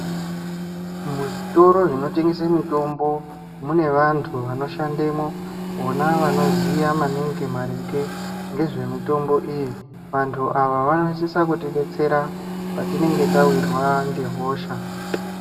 Muzvitoro zvinotengese mitombo munevantu vanoshandemwo vona vanoziya maningi maringe ngezvemitombo iyi vantu ava vanosisa kutidetsera patinenge tawirwa ngehosha.